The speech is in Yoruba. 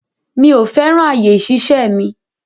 Mi ò fẹ́ràn àyè ìṣiṣẹ́ mi.